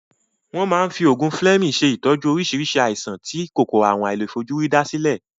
Won ma n fi ogun fleming se itoju orisi aisan ti Kòkòrò àrùn àìlèfojúrí da sile.